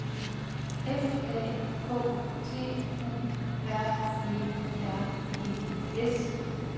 F A K T U R E R E S